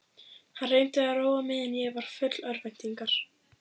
Hann reyndi að róa mig en ég var full örvæntingar.